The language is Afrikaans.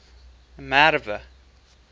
merwe